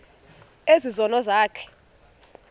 ezi zono zakho